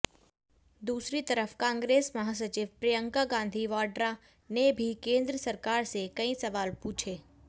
दूसरी तरफ कांग्रेस महासचिव प्रियंका गांधी वाड्रा ने भी केंद्र सरकार से कई सवाल पूछे